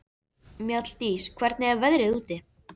Mjalldís, hvernig er veðrið úti?